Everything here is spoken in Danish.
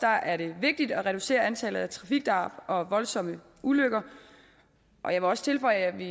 er det vigtigt at reducere antallet af trafikdrab og voldsomme ulykker og jeg må også tilføje at vi